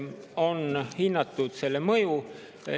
On hinnatud selle mõju.